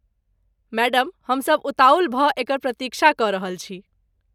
Madam हमसब उताहुल भऽ एकर प्रतीक्षा कऽ रहल छी।